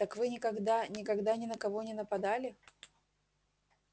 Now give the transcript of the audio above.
так вы никогда никогда ни на кого не нападали